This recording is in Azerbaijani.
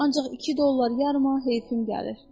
Ancaq 2 dollar yarıma heyfim gəlir.